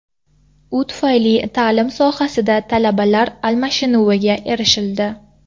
U tufayli ta’lim sohasida talabalar almashinuviga erishildi.